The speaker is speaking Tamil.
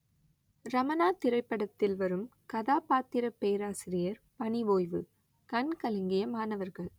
ரமணா திரைப்படத்தில் வரும் கதாபாத்திர பேராசிரியர் பணி ஓய்வு கண் கலங்கிய மாணவர்கள்